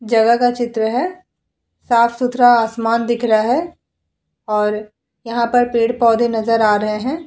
जगह का चित्र है। साफ-सुथरा आसमान दिख रहा है और यहां पर पेड़-पौधे नजर आ रहे हैं।